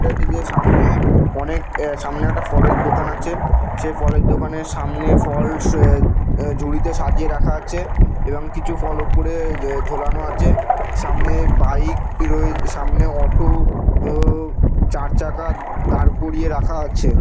এই যে সামনে অনেক এ সামনে একটা ফলের দোকান আছে সেই ফলের দোকানের সামনে ফল এ-এ ঝুড়িতে সাজিয়ে রাখা আছে এবং কিছু ফল এ-এ ওপরে ঝোলানো আছে সামনে বাইক রয়ে সামনে অটো ও-ও চার চাকা দাঁড় করিয়ে রাখা আছে।